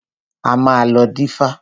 A máa lọ dífá.